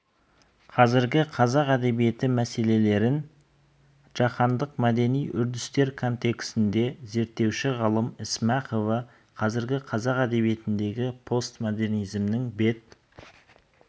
қазіргі қазақ әдебиеті мәселелерін жаһандық мәдени үрдістер контексінде зерттеуші ғалым ісмақова қазіргі қазақ әдебиетіндегі постмодернизмнің бет